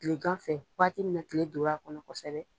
kilegan fɛ waati mina kile don l'a kɔnɔ kosɛbɛ